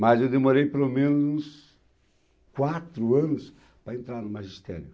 Mas eu demorei pelo menos quatro anos para entrar no magistério.